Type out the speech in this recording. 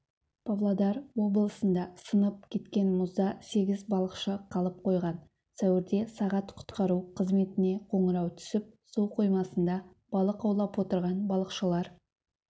павлодар облысында сынып кеткен мұзда сегіз балықшы қалып қойған сәуірде сағат құтқару қызметіне қоңырау түсіп су қоймасында балық аулап отырған балықшылар